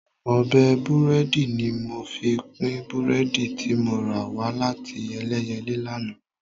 Ọ̀bẹ búrẹ́dì ni mo fi pín búrẹ́dì tí mo rà wá láti Ẹlẹ́yẹlé lánàá